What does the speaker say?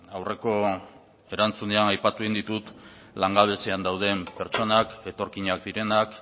aurreko erantzunean aipatu egin ditut langabezian dauden pertsonak etorkinak direnak